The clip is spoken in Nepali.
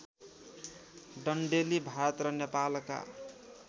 डन्डेलि भारत र नेपालका